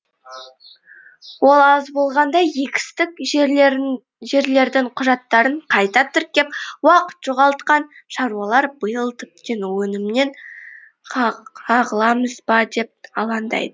ол аз болғандай егістік жерлердің құжаттарын қайта тіркеп уақыт жоғалтқан шаруалар биыл тіптен өнімнен қағыламыз ба деп алаңдайды